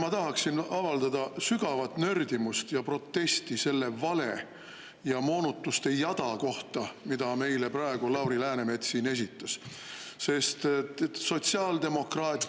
Ma tahaksin avaldada sügavat nördimust ja protesti selle vale ja moonutuste jada kohta, mida meile praegu Lauri Läänemets siin esitas, sest sotsiaaldemokraat …